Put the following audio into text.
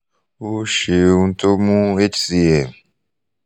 o seun to mu h c m